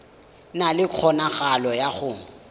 na le kgonagalo ya go